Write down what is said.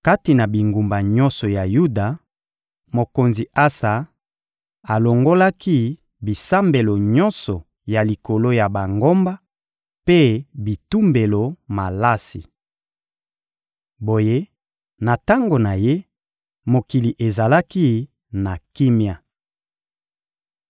Kati na bingumba nyonso ya Yuda, mokonzi Asa alongolaki bisambelo nyonso ya likolo ya bangomba mpe bitumbelo malasi. Boye, na tango na ye, mokili ezalaki na kimia.